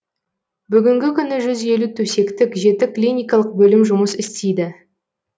бүгінгі күні жүз елу төсектік жеті клиникалық бөлім жұмыс істейді